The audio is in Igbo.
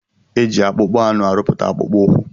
Eji akpụkpọ anụ arụputa akpụkpọ ukwu.